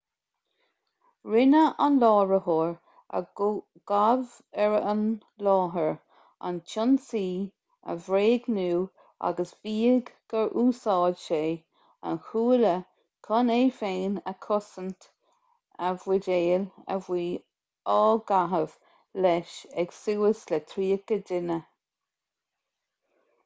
rinne an láithreoir a gabhadh ar an láthair an t-ionsaí a bhréagnú agus mhaígh gur úsáid sé an chuaille chun é féin a chosaint a bhuidéil a bhí á gcaitheamh leis ag suas le tríocha duine